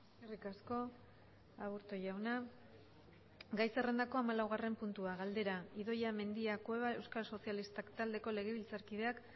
eskerrik asko aburto jauna gai zerrendako hamalaugarren puntua galdera idoia mendia cueva euskal sozialistak taldeko legebiltzarkideak